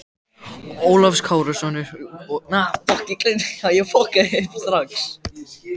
Ólafs Kárasonar og gremju Bjarts og stjórnsemi.